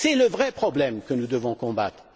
Voilà le vrai problème que nous devons combattre.